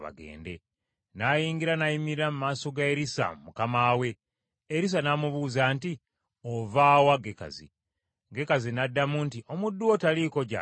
N’ayingira n’ayimirira mu maaso ga Erisa mukama we. Erisa n’amubuuza nti, “Ova wa Gekazi?” Gekazi n’addamu nti, “Omuddu wo taliiko gy’agenze.”